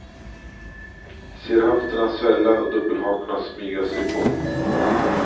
Ser höfterna svälla och dubbelhakorna smyga sig på.